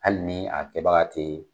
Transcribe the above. Hali ni a kɛbaga te